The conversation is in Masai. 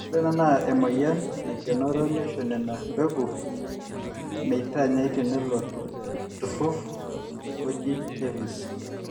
ore ena naa emwueyian naikenoro neisho nena mpegu metanyai teilo turrur oji KEPHIS